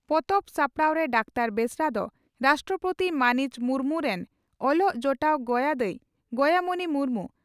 ᱯᱚᱛᱚᱵ ᱥᱟᱯᱲᱟᱣᱨᱮ ᱰᱟᱠᱛᱟᱨ ᱵᱮᱥᱨᱟ ᱫᱚ ᱨᱟᱥᱴᱨᱚᱯᱳᱛᱤ ᱢᱟᱹᱱᱤᱡ ᱢᱩᱨᱢᱩ ᱨᱤᱱ ᱚᱞᱚᱜ ᱡᱚᱴᱟᱣ ᱜᱚᱭᱟ ᱫᱟᱹᱭ (ᱜᱚᱭᱟᱢᱚᱬᱤ ᱢᱩᱨᱢᱩ)